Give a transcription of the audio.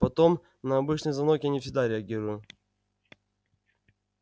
потом на обычный звонок я не всегда реагирую